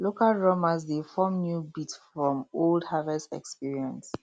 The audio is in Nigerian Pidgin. local drummers dey form new beat from old harvest experience